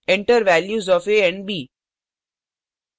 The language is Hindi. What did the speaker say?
enter values of a and b